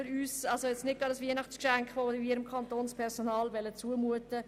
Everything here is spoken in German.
Ein solches Weihnachtsgeschenk wollen wir dem Kantonspersonal nicht zumuten!